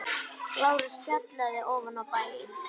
LÁRUS: Fjallið fyrir ofan bæinn.